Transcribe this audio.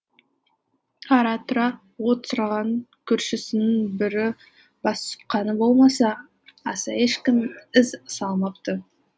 ара тұра от сұраған көршісінің бірі бас сұққаны болмаса аса ешкім із салмапты